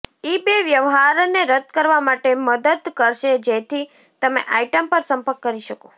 eBay વ્યવહારને રદ કરવા માટે મદદ કરશે જેથી તમે આઇટમ પર સંપર્ક કરી શકો